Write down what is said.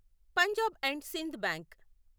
Punjab and Sind bank